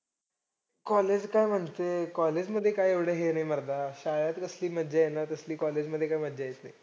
College काय म्हणते college मध्ये काय एवढं हे नाही मर्दा. शाळेत कसली मज्जा आहे ना तसली college मध्ये काय मज्जा येत नाही.